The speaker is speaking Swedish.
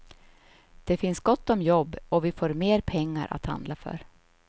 Det finns gott om jobb och vi får mer pengar att handla för.